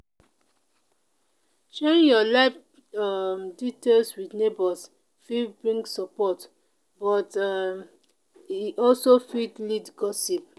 sharing your life um details with neighbors fit bring support but um e also fit lead gossip.